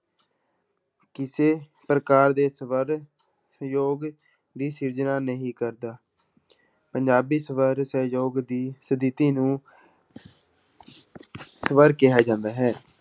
ਕਿਸੇ ਪ੍ਰਕਾਰ ਦੇ ਸਵਰ ਸਯੋਗ ਦੀ ਸਿਰਜਣਾ ਨਹੀਂ ਕਰਦਾ ਪੰਜਾਬੀ ਸਵਰ ਸਯੋਗ ਦੀ ਸਥਿੱਤੀ ਨੂੰ ਸਵਰ ਕਿਹਾ ਜਾਂਦਾ ਹੈ।